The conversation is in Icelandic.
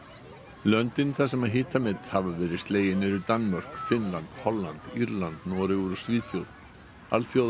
löndin þar sem hitamet hafa verið slegin eru Danmörk Finnland Holland Írland Noregur og Svíþjóð